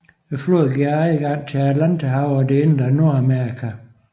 Floden giver adgang til Atlanterhavet og det indre af Nordamerika